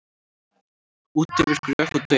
Út yfir gröf og dauða